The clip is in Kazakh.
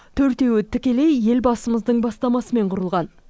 төртеуі тікелей елбасымыздың бастамасымен құрылған